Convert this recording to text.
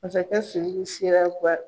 Masakɛ Suruku sera